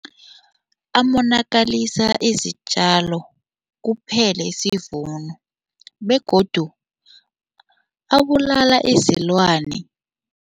Amonakalisa izitjalo, kuphele isivuno begodu abulala izilwane.